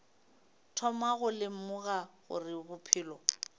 thoma go lemoga gore bophelo